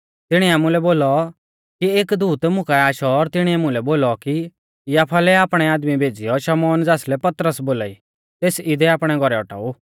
तिणीऐ आमुलै बोलौ कि एक दूत मुकाऐ आशौ और तिणीऐ मुलै बोलौ कि याफा लै आपणै आदमी भेज़ीयौ शमौन ज़ासलै पतरस बोलाई तेस इदै आपणै घौरै औटाऊ